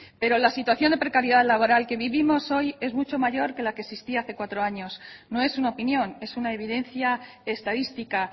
pero la situación de precariedad laboral que vivimos hoy es mucho mayor que la que existía hace cuatro años no es una opinión es una evidencia estadística